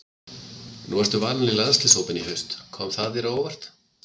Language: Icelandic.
Nú varstu valinn í landsliðshópinn í haust, kom það þér á óvart?